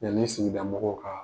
Yanni sigida mɔgɔw ka